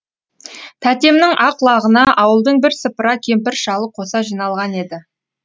тәтемнің ақ лағына ауылдың бірсыпыра кемпір шалы қоса жиналған еді